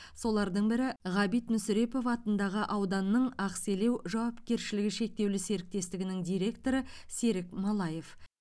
солардың бірі ғабит мүсірепов атындағы ауданның ақселеу жауапкершілігі шектеулі серіктестігінің директоры серік малаев